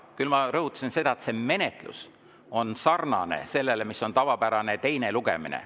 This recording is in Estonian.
Küll ma rõhutasin seda, et menetlus on sarnane sellega, mis on tavapärasel teisel lugemisel.